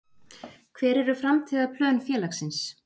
Hver eru framtíðarplön félagsins?